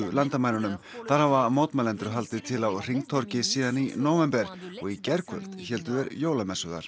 landamærunum þar hafa mótmælendur haldið til á hringtorgi síðan í nóvember og í gærkvöld héldu þeir jólamessu þar